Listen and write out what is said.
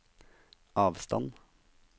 avstand